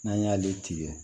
N'an y'ale tigɛ